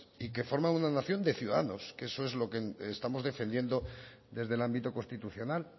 y que forman una nación de ciudadanos que eso es lo que estamos defendiendo desde el ámbito constitucional